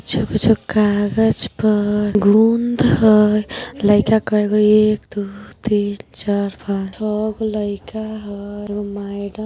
छुक- छुक काजग पर गूँद हई। लाइका कई गो एक दो तीन चार पाँच छौ गो लाइका हई। एगो मैडम ---